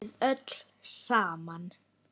Við öll saman.